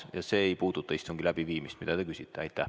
Ja see ei puuduta istungi läbiviimist, mida te küsite.